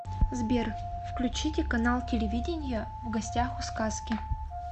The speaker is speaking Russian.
сбер включите канал телевидения в гостях у сказки